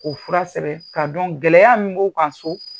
K'o fura sɛbɛn k'a dɔn gɛlɛya min b'o kan so.